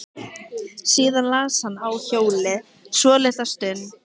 Síðan las hann í hljóði svolitla stund.